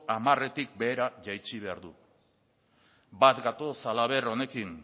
hamaretik behera jaitsi behar du bat gatoz halaber honekin